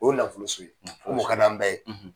O ye nafoloso ye o ka d'an bɛɛ ye.